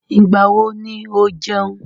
Ìgbà wo ni ó jẹun?